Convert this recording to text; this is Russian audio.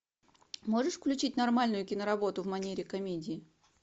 можешь включить нормальную киноработу в манере комедии